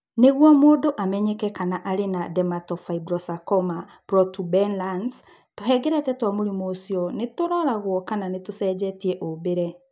Nĩguo mũndũ amenyeke kana arĩ na dermatofibrosarcoma protuberans, tũhengereta twa mũrimũ ũcio nĩ tũroragũo kana nĩ tũcenjetie ũmbĩre.